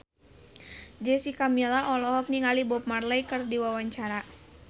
Jessica Milla olohok ningali Bob Marley keur diwawancara